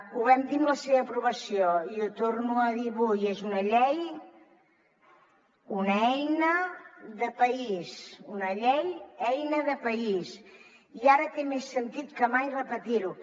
ho vam dir en la seva aprovació i ho torno a dir avui és una llei una eina de país una eina de país i ara té més sentit que mai repetir ho